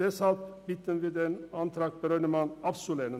Deshalb bitten wir Sie, den Antrag Brönnimann abzulehnen.